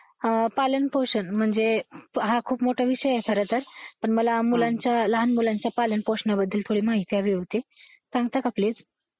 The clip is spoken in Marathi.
अं ‘पालन-पोषण’ म्हणजे हा खूप मोठा विषय आहे खरं तर. पण मला मुलांच्या, लहान मुलांच्या पालन पोषणाबद्दल थोडी माहिती हवी होती. सांगता का प्लीज?